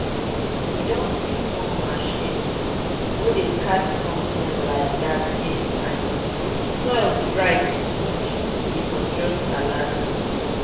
we don fix one machine way dey catch something like that anytime soil dry too much e go just alert us.